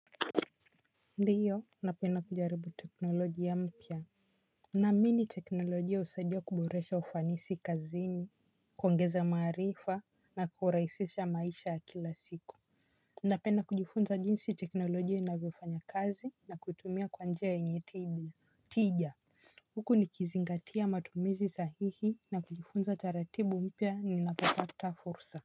Ndio, napenda kujaribu teknolojia mpya. Naamini teknolojia husaidia kuboresha ufanisi kazini. Kuongeza maarifa na kurahisisha maisha ya kila siku. Napenda kujifunza jinsi teknolojia inavyofanya kazi na kutumia kwa njia yenye tija huku nikizingatia matumizi sahihi na kujifunza taratibu mpya ninapopata fursa.